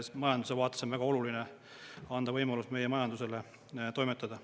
Majanduse vaates on väga oluline anda võimalus meie majandusele toimetada.